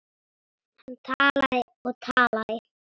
Hann talaði og talaði.